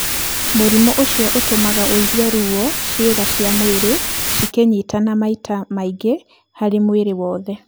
Mũrimũ ũcio ũtũmaga ũigwe ruo ciĩga cia mwĩrĩ cikĩnyitana maita maingĩ harĩ mwĩrĩ wothe.